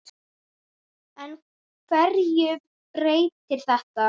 En hverju breytir þetta?